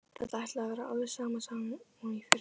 Þetta ætlaði að verða alveg sama sagan og í fyrra.